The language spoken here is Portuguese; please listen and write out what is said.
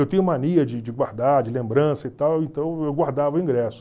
Eu tenho mania de de guardar, de lembrança e tal, então eu guardava o ingresso.